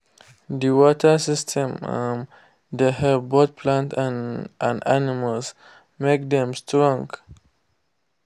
the water system um dey help both plants and and animals make dem strong